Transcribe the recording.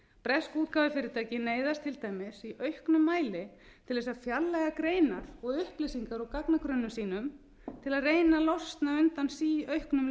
bresk útgáfufyrirtæki neyðast til dæmis í auknum mæli til þess að fjarlægja greinar og upplýsingar úr gagnagrunnum sínum til að reyna að losna undan síauknum